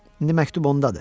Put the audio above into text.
İndi məktub ondadır.